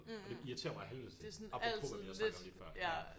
Og det irriterer mig af helvede til apropos hvad vi har snakket om lige før